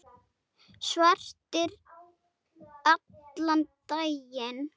Svartir allan daginn.